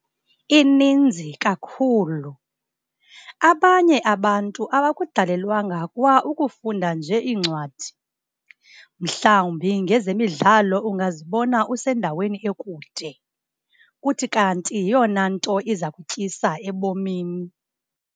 Ininzi kakhulu. Abanye abantu abakudalelwanga kwa ukufunda nje iincwadi. Mhlawumbi ngezemidlalo ungazibona usendaweni ekude, kuthi kanti yiyona nto iza kutyisa ebomini.